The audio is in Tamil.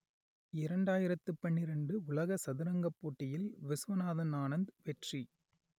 இரண்டாயிரத்து பன்னிரண்டு உலக சதுரங்கப் போட்டியில் ‌வி‌சுவநாத‌ன் ஆனந்த் வெற்றி